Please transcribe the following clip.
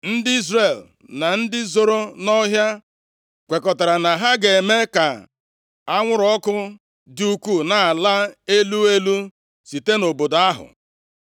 Ndị Izrel na ndị zoro nʼọhịa kwekọtara na ha ga-eme ka anwụrụ ọkụ dị ukwuu na-ala elu elu site nʼobodo ahụ,